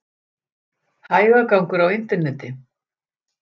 Hægagangur á interneti